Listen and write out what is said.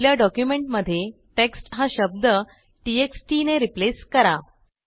आपल्या डॉक्युमेंटमध्ये टेक्स्ट हा शब्द टीटी एक्स टीटी ने रिप्लेस करा